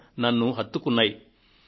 ఇవి నన్ను కదలించాయి